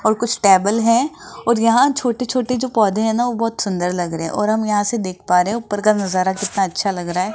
और कुछ टेबल है और यहां छोटे छोटे जो पौधे हैं ना वो बहुत सुंदर लग रहे हैं और हम यहां से देख पा रहे हैं ऊपर का नजारा कितना अच्छा लग रहा --